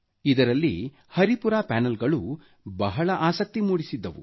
ಇದರಲ್ಲಿ ಹರಿಪುರಾ ಪ್ಯಾನಲ್ಗಳು ಬಹಳ ಆಸಕ್ತಿ ಮೂಡಿಸಿದ್ದವು